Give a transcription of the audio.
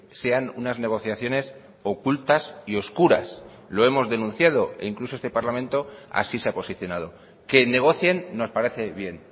sean unas negociaciones ocultas y oscuras lo hemos denunciado e incluso este parlamento así se ha posicionado que negocien nos parece bien